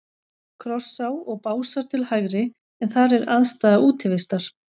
Krossá og Básar til hægri, en þar er aðstaða Útivistar.